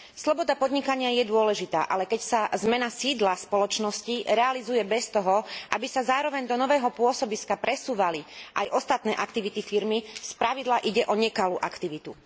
Sloboda podnikania je dôležitá, ale keď sa zmena sídla spoločnosti realizuje bez toho, aby sa zároveň do nového pôsobiska presúvali aj ostatné aktivity firmy, spravidla ide o nekalú aktivitu.